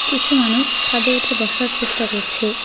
কিছু মানুষ ছাদে উঠে বসার চেষ্টা করছে।